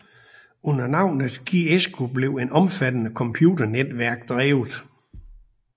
Under navnet GEISCO blev et omfattende computernetværk drevet